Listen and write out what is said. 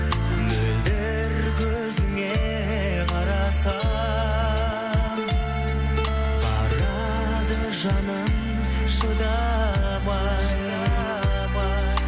мөлдір көзіңе қарасам барады жаным шыдамай